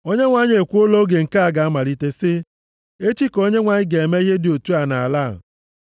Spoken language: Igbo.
Onyenwe anyị ekwuola oge nke a ga-amalite sị, “Echi ka Onyenwe anyị ga-eme ihe dị otu a nʼala a.”